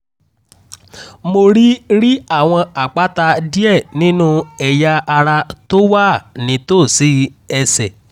mo rí rí àwọn àpáta díẹ̀ nínú ẹ̀yà ara tó wà nítòsí ẹ̀sẹ̀